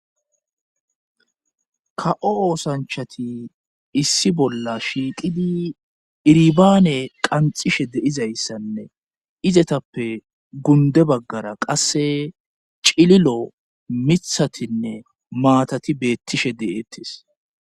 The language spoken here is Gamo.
Ka7o oosanchati issi bolla shiiqidi iribaane qanxishe deizayssanne izetappe gunde baggara qasse cililo mithatinne maatati beettishe de7ettes.